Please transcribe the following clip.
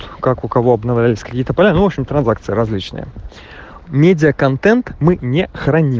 как у кого обновлялись кредита продолжен транзакция различный медиаконтент мы не